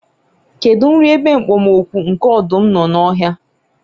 kedu nri ebe okpomọkụ nke ọdụm nọ n'ọhịa?